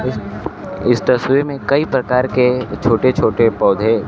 इस तस्वीर में कई प्रकार के छोटे छोटे पौधे--